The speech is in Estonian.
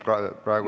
Aitäh!